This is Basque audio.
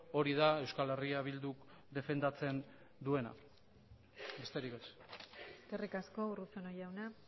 hori da euskal herria bilduk defendatzen duena besterik ez eskerrik asko urruzuno jauna